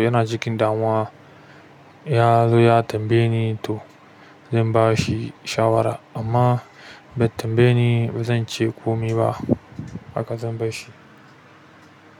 yana cikin damuwa ko yazo ya tambaye ni to zan bashi shawara amma bai tambaye ni ba zan ce komi ba. Haka zan bashi.